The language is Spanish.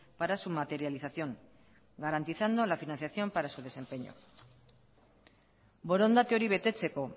para su materialización garantizando la financiación para su desempeño borondate hori betetzeko